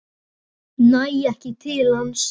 Næ ekki til hans.